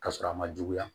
Ka sɔrɔ a ma juguya